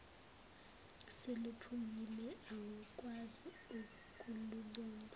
seluphukile awukwazi ukulubumba